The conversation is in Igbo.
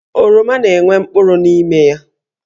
Oroma na-enwe mkpụrụ n'ime ya.